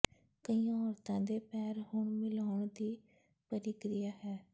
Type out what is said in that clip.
ਕਈਆਂ ਔਰਤਾਂ ਦੇ ਪੈਰ ਹੁਣ ਮਿਲਾਉਣ ਦੀ ਪ੍ਰਕਿਰਿਆ ਹੈ